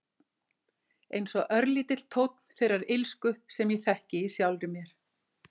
Einsog örlítill tónn þeirrar illsku sem ég þekki í sjálfri mér.